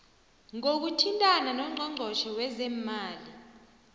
ngokuthintana nongqongqotjhe wezeemali